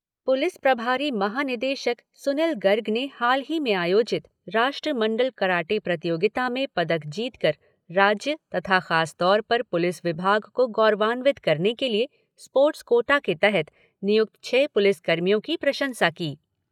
Police प्रभारी महा निदेशक सुनिल गर्ग ने हाल ही में आयोजित राष्ट्रमंडल कराटे प्रतियोगिता में पदक जीतकर राज्य तथा खासतौर पर पुलिस विभाग को गौरवान्वित करने के लिए स्पोर्ट्स कोटा के तहत नियुक्त छह पुलिस कर्मियों की प्रशंसा की।